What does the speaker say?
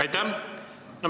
Aitäh!